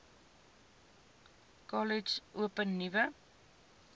kollege open nuwe